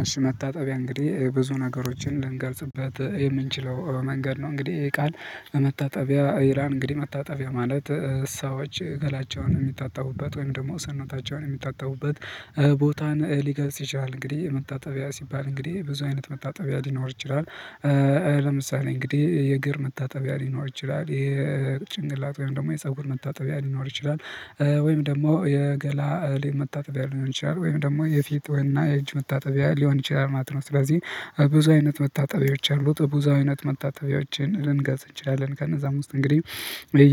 አሽ መታጠቢያ እንግዲህ ብዙ ነገሮችን ልንገልጽበት የምንችለው መንገድ ነው። እንግዲህ ቃል በመታጠቢያ ይላልን እንግዲህ መታጠቢያ ማለት ሰዎች ገላቸውን የሚታጠቡበት ወይም ደግሞ ሰነታቸውን የሚታጠቡበት ቦታን ሊገልጽ ይችላል። እንግዲህ መታጠቢያ ሲባል እንግዲህ ብዙ አይነት መታጠቢያ ሊኖር ይችላል። ለምሳሌ እንግዲህ የእግር መታጠቢያ ሊኖር ይችላል የጭንቅላት ወይም ደግሞ የፀጉር መታጠቢያ ሊኖር ይችላል። ወይም ደግሞ የገላ እህል መታጠቢያ ሊሆን ይችላል ወይም ደግሞ የፊት ወይና የእጅ መታጠቢያ ሊሆን ይችላል ማለት ነው። ስለዚህ ብዙ አይነት መታጠቢያዎች አሉ በብዙ አይነት መታጠቢያዎችን ልንገልፅ እንችላለን። ከነዛም ውስጥ እንግዲህ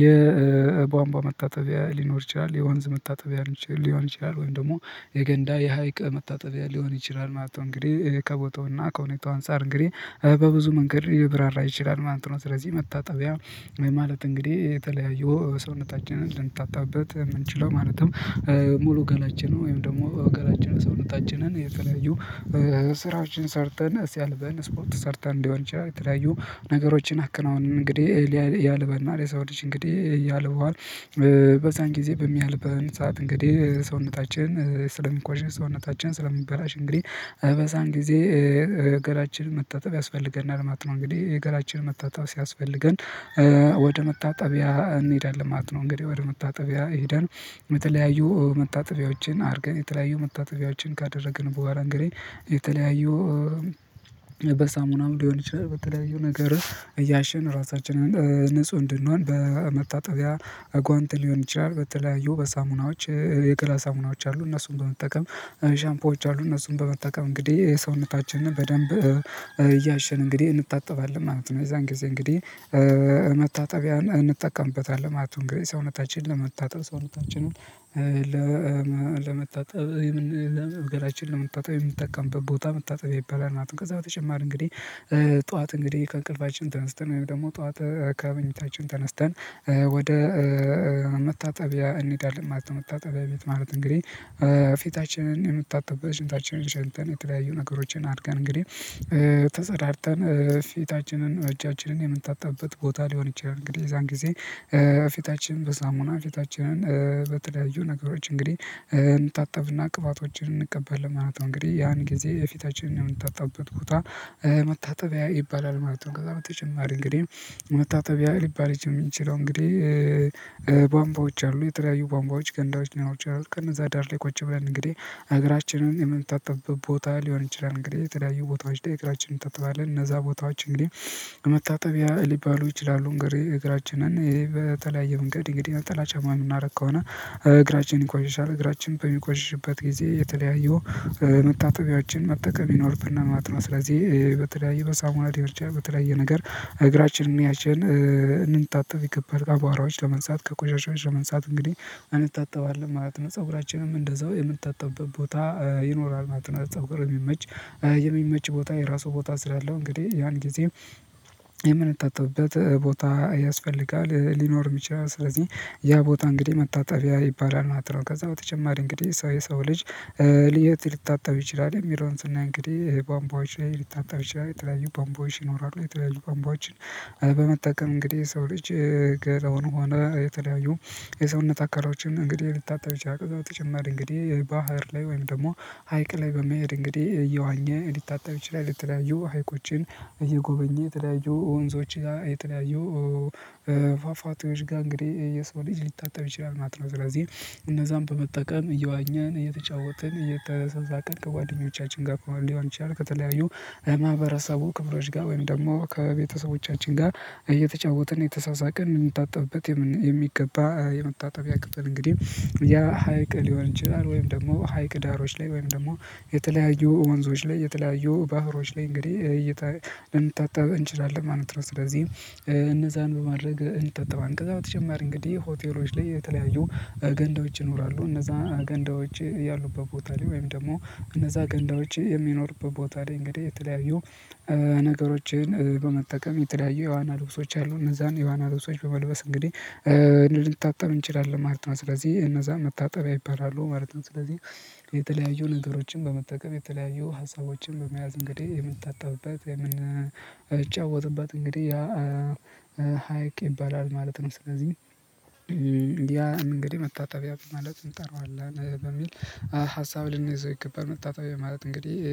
የቧንቧ መታጠቢያ ሊኖር ይችላል የወንዝ መታጠቢያ ሊሆን ይችላል ወይም ደግሞ የገንዳ የሀይቅ መታጠቢያ ሊሆን ይችላል ማለት ነው። እንግዲህ ከቦታውና ከሁኔታው አንፃር እንግዲህ በብዙ መንገድ ይብራራ ይችላል ማለት ነው። ስለዚህ መታጠቢያ ማለት እንግዲህ የተለያዩ ሰውነታችንን ልንታጠብበት የምንችለው ማለትም ሙሉ ገላችንን ወይም ደግሞ ገላችንን ሰውነታችንን የተለያዩ ስራዎችን ሰርተን ሲያልበን ስፖርት ሰርተን ሊሆን ይችላል። የተለያዩ ነገሮችን አክናውነን እንግዲህ ያልበናል የሰው ልጅ እንግዲህ ያልበዋል በዛን ጊዜ በሚያልበን ሰዓት እንግዲህ ሰውነታችን ስለሚቆሸሽ ሰውነታችን ስለሚበላሽ እንግዲህ በዛን ጊዜ ገላችንን መታጠብ ያስፈልገናል። ማለት እንግዲህ ገላችንን መታጠብ ሲያስፈልገን ወደ መታጠቢያ እንሄዳለን ማት ነው። እንግዲህ ወደ መታጠቢያ ሄደን የተለያዩ መታጠቢያዎችን አድርገን የተለያዩ መታጠቢያዎችን ካደረግን በኋላ እንግዲህ የተለያዩ በሳሙና ሊሆን ይችላል በተለያዩ ነገር እያሸን ራሳችንን ንጹህ እንድንሆን በመታጠቢያ ጓንት ሊሆን ይችላል። በተለያዩ በሳሙናዎች የገላ ሳሙናዎች አሉ እነሱን በመጠቀም ሻምፖዎች አሉ እነሱን በመጠቀም እንግዲህ የሰውነታችንን በደንብ እያሸን እንግዲህ እንታጠባለን ማለት ነው። የዛን ጊዜ እንግዲህ መታጠቢያ እንጠቀምበታለን ማለት ነው። እንግዲህ ሰውነታችንን ለመታጠብ ሰውነታችንን ለመታጠብ ለመታጠብ የምንጠቀም ቦታ መታጠቢያ ይባላል ማለት ነው። ከዛ በተጨማር እንግዲህ ጠዋት እንግዲህ ከእንቅልፋችን ተነስተን ወይም ደግሞ ጠዋት ከመኝታችን ተነስተን ወደ መታጠቢያ እንሄዳለን መታጠቢያ ቤት ማለት እንግዲህ ፊታችንን የምታጣበት ሽንታችንን ሸንተን የተለያዩ ነገሮችን አድርገን እንግዲህ ተጸዳድተን ፊታችንን እጃችንን የምንታጣበት ቦታ ሊሆን ይችላል። እንግዲህ የዛን ጊዜ ፊታችን በስላሙና ፊታችንን በተለያዩ ነገሮች እንግዲህ እንታጠብና ቅባቶችን እንቀባለን ማለት ነው። እንግዲህ ያን ጊዜ የፊታችንን የምንታጣበት ቦታ መታጠቢያ ይባላል ማለት ነው። ከዛ በተጨማሪ እንግዲህ መታጠቢያ ሊባል የሚችለው እንግዲህ ባምባዎች አሉ የተለያዩ ባምባዎች ገንዳዎች ናቸው የሚችሉት ከነዛ ዳር ላይ ቁጭ ብለን እንግዲህ እግራችንን የምንታጠብበት ቦታ ሊሆን ይችላል። እንግዲህ የተለያዩ ቦታዎች ላይ እግራችንን እንታጠባለን እነዛ ቦታዎች እንግዲህ መታጠቢያ ሊባሉ ይችላሉ። እግራችንን ይሄ በተለያየ መንገድ እንግዲህ ነጠላ ጫማ የምናደርግ ከሆነ እግራችንን ይቆሽሻል እግራችንን በሚቆሽሽበት ጊዜ የተለያዩ መታጠቢያችን መጠቀም ይኖርና ማለት ስለዚህ በተለያየ በሳሙና የምርጫ በተለያየ ነገር እግራችንን ያችን እንንታጠፍ ይከፋል ከባህራዎች ለመንሳት ከቆሻሻዎች መንሳት እንግዲህ እንታጠባለን ማለት ነው። ፀጉራችንም እንደዛው የምታጠብበት ቦታ ይኖራል ማለት ነው። የሚመች የሚመች ቦታ የራሱ ቦታ ስላለው እንግዲህ ያን ጊዜ የምንታጠብበት ቦታ ያስፈልጋል ሊኖር የሚችል ስለዚህ ያ ቦታ እንግዲህ መታጠቢያ ይባላል ማለት ነው። ከዛ በተጨማሪ እንግዲህ የሰው የሰው ልጅ የት ሊታጠብ ይችላል የሚለውን ስናይ እንግዲህ ቧንቧዎች ላይ ሊታጠብ ይችላል የተለያዩ ቧንቧዎች ይኖራሉ የተለያዩ ቧንቧዎች በመጠቀም እንግዲህ ሰው ልጅ ገደውን ሆነ የተለያዩ የሰውነት አካሎችን እንግዲህ ሊታጠብ ይችላሉ። በተጨማሪ እንግዲህ ባህር ላይ ወይም ደግሞ ሀይቅ ላይ በመሄድ እንግዲህ እየዋኘ ሊታጠብ ይችላል ልተለያዩ ሀይቆችን እየጎበኘ የተለያዩ ወንዞች የተለያየ ፏፏቴዎች ጋር እንግዲህ የሰው ልጅ ሊታጠብ ይችላል ማት ነው። ስለዚህ እነዛን በመጠቀም እየዋኘን እየተጫወትን እየተረሳስን ከጓደኞቻችን ጋር ከሆነ ሊሆን ይችላል ከተለያዩ ማህበረሰቡ ክብሮች ጋር ወይም ደግሞ ከቤተሰቦቻችን ጋር እየተጫወትን እንደተሳሳቅን የምንታጠብበት የሚገባ የመታጠቢያ ክፍል እንግዲህ ያ ሀይቅ ሊሆን ይችላል ወይም ደግሞ ሀይቅ ዳሮች ላይ ወይም ደግሞ የተለያዩ ወንዞች ላይ የተለያዩ ባህሮች ላይ እንግዲህ እይታ ልንታጠብ እንችላለን ማለት ነው። ስለዚህ እነዛን በማድረግ እንታጠባለን። ከዛ በተጨማሪ እንግዲህ ሆቴሎች ላይ የተለያዩ ገንዳዎች ይኖራሉ እነዛ ገንዳዎች ያሉበት ቦታ ላይ ወይም ደግሞ እነዛ ገንዳዎች የሚኖሩበት ቦታ ላይ እንግዲህ የተለያዩ ነገሮችን በመጠቀም የተለያዩ የዋና ልብሶች አሉ እነዛን የዋና ልብሶች በመልበስ እንግዲህ ልንታጠብ እንችላለን ማለት ነው። ስለዚህ እነዛ መታጠቢያ ይባላሉ ማለት ነው። ስለዚህ የተለያዩ ነገሮችን በመጠቀም የተለያዩ ሀሳቦችን በመያዝ እንግዲህ የምንታጣበት የምንጫወትበት እንግዲህ ያ ሀይቅ ይባላል ማለት ነው። ስለዚህ ያ እንግዲህ መታጠቢያ ማለት እንጠራዋለን በሚል ሀሳብ ልንይዘው ይገባል። መታጠቢያ ማለት እንግዲህ